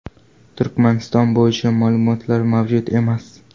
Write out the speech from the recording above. Turkmaniston bo‘yicha ma’lumotlar mavjud emas.